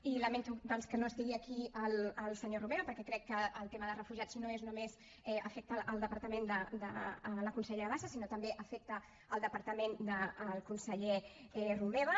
i lamento doncs que no estigui aquí el senyor romeva perquè crec que el tema de refugiats no només afecta el departament de la consellera bassa sinó que també afecta el departament del conseller romeva